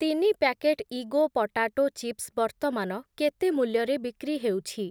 ତିନି ପ୍ୟାକେଟ୍‌ ଇଗୋ potato chips ବର୍ତ୍ତମାନ କେତେ ମୂଲ୍ୟରେ ବିକ୍ରି ହେଉଛି?